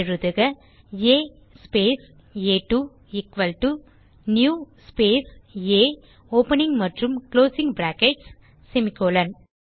எழுதுக ஆ ஸ்பேஸ் ஆ2 எக்குவல் டோ நியூ ஸ்பேஸ் ஆ ஓப்பனிங் மற்றும் குளோசிங் பிராக்கெட்ஸ் செமிகோலன்